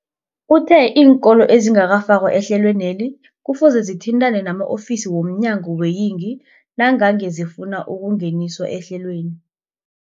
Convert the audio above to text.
Uthe iinkolo ezingakafakwa ehlelweneli kufuze zithintane nama-ofisi wo mnyango weeyingi nangange zifuna ukungeniswa ehlelweni.